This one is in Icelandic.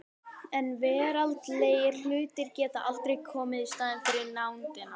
En veraldlegir hlutir geta aldrei komið í staðinn fyrir nándina.